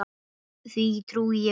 Því trúi ég vel.